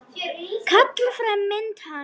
Kalla fram mynd hans.